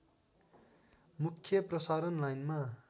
मुख्य प्रसारण लाइनमा